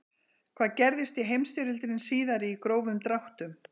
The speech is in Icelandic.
hvað gerðist í heimsstyrjöldinni síðari í grófum dráttum